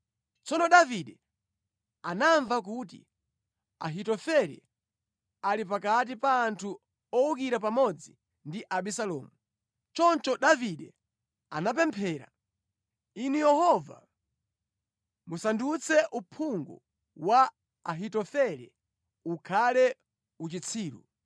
Tsono Davide anamva kuti, “Ahitofele ali pakati pa anthu owukira pamodzi ndi Abisalomu.” Choncho Davide anapemphera, “Inu Yehova, musandutse uphungu wa Ahitofele ukhale uchitsiru.”